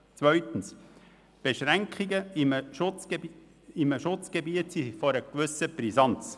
Zweitens sind Beschränkungen im Schutzgebiet von einer gewissen Brisanz.